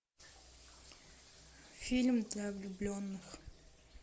фильм для влюбленных